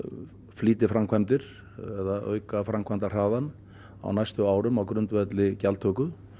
flýtiframkvæmdir eða auka framkvæmdahraðann á næstu árum á grundvelli gjaldtöku